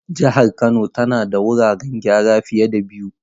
Jihar Kano tana da wuraren gyara fiye da biyu.